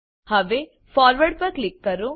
હવે ફોરવર્ડ પર ક્લિક કરો